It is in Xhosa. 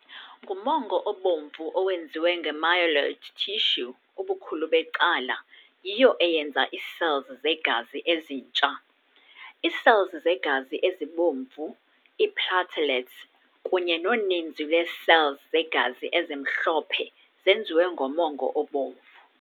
Ngumongo obomvu owenziwe nge-myeloid tissue ubukhulu becala, yiyo eyenza ii-cells zegazi ezintsha. Ii-cells zegazi ezibomvu, ii-platelets, kunye noninzi lwee-cells zegazi ezimhlophe zenziwe ngomongo obomvu.